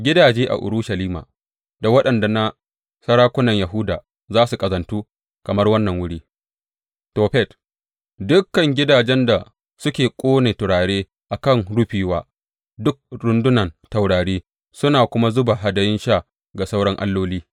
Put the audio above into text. Gidaje a Urushalima da waɗannan na sarakunan Yahuda za su ƙazantu kamar wannan wuri, Tofet, dukan gidajen da suke ƙone turare a kan rufi wa duk rundunan taurari suna kuma zuba hadayun sha ga sauran alloli.’